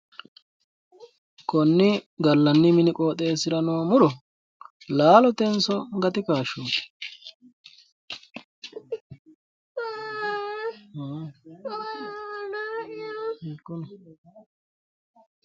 Konni gallanni mini qooxeessira noo muro laalotenso gatu kaashshooti?